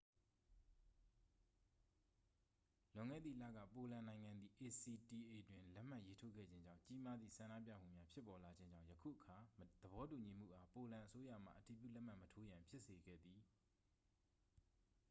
လွန်ခဲ့သည့်လက ပိုလန်နိုင်ငံသည် acta တွင် လက်မှတ်ရေးထိုးခဲ့ခြင်းကြောင့် ကြီးမားသည့် ဆန္ဒပြမှုများ ဖြစ်ပေါ်လာခြင်းကြောင့် ယခုအခါ သဘောတူညီမှုအား ပိုလန်အစိုးရမှ အတည်ပြုလက်မှတ်မထိုးရန် ဖြစ်စေခဲ့သည်